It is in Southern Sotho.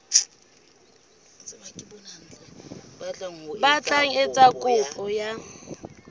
batlang ho etsa kopo ya